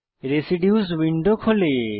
residues window খোলে